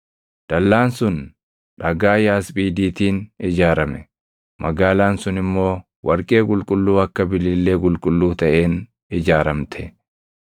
Dallaan sun dhagaa yaasphiidiitiin ijaarame; magaalaan sun immoo warqee qulqulluu akka bilillee qulqulluu taʼeen ijaaramte.